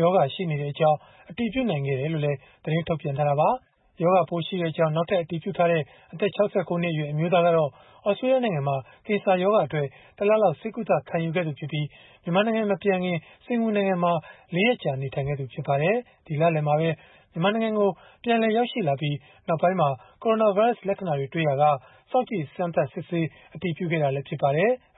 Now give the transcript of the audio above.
ရောဂါရှိနေကြောင်း အတည်ပြုနိုင်ခဲ့တယ်လို့လည်း သတင်းထုတ်ပြန်ထားတာပါ။ နောက်ထပ် ရောဂါပိုးရှိကြောင်း အတည်ပြုခဲ့တဲ့ အသက် ၆၉ နှစ်အရွယ် အမျိုးသားကတော့ သြစတြေးလျနိုင်ငံမှာ ကင်ဆာရောဂါအတွက် တလလောက် ဆေးကုသ ခံယူခဲ့သူဖြစ်ပြီး မြန်မာနိုင်ငံ မပြန်ခင်မှာ စင်္ကာပူနိုင်ငံမှာ ၄ ရက်ကြာ နေထိုင်ခဲ့သူ ဖြစ်ပါတယ်။ ဒီလလယ်မှာပဲ မြန်မာနိုင်ငံကို ပြန်လည်ရောက်ရှိလာပြီး နောက်ပိုင်းမှာ ကိုရိုနာဗိုင်းရပ်စ် လက္ခဏာတွေ တွေ့ရှိရာက စောင့်ကြည့်စမ်းသပ်စစ်ဆေး အတည်ပြုခဲ့တာလည်း ဖြစ်ပါတယ်။